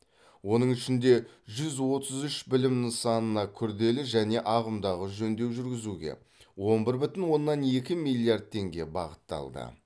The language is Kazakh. оның ішінде жүз отыз үш білім нысанына күрделі және ағымдағы жөндеу жүргізуге он бір бүтін оннан екі миллиард теңге бағытталды